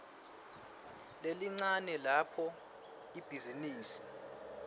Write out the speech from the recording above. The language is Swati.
lelincane lapho ibhizinisi